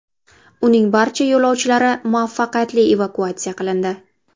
Uning barcha yo‘lovchilari muvaffaqiyatli evakuatsiya qilindi.